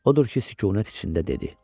Odur ki, sükunət içində dedi: